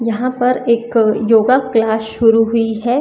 यहां पर एक अ योगा क्लास शुरू हुई है।